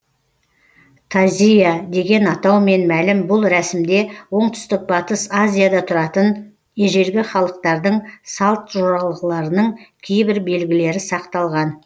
тазийа деген атаумен мәлім бұл рәсімде оңтүстік батыс азияда тұратын ежелгі халықтардың салт жоралғыларының кейбір белгілері сақталған